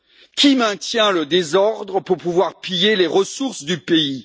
Qui maintient le désordre pour pouvoir piller les ressources du pays?